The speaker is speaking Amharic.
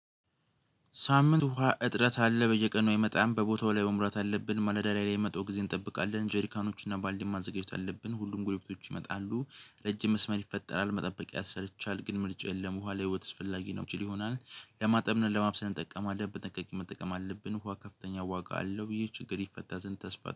ሳምንት ውሃ እጥረት አለ በየቀኑ አይመጣም' በቦታው ላይ መምራት አለብን፤ ማለዳ ላይ የመጣው ጊዜ እንጠብቃለን ጄሪካኖችን እና ባልዲ ማአዘጋጀት አለብን። ሁሉም ጉልበቶች ይመጣሉ ረጅም መስመር ይፈጠራል መጠበቅ ያሰለቻል። ግን ምልጭ የለም፤ ውሃ ልህይዎት አስፈላግ ነው ችል ይሆናል። ለማጠብና ለማብሰል እንጠቀማለን በጠቅት መጠቀም አለብን። ውሃ ከፍተኛ ዋጋ አለው። ይህ ችግር ይፈታ ዝንት ተስፋ።